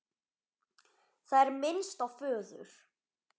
Það er minnst á föður